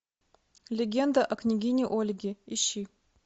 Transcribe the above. легенда о княгине ольге ищи